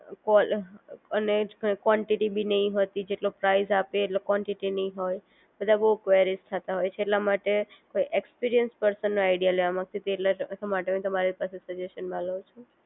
call અને quantity ભી નહિ હોતી જેટલો પ્રાઈઝ આપે એટલે કોન્ટીટી નહિ હોય બધા બહુ કવેરીઝ થતા હોય એટલે કોઈ એક્સપિરિયન્સ પર્સન નો આઈડિયા લેવા માંગતી હતી એટલે તમારી પાસે સજેશન માં લવ છું